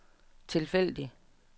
tilfældig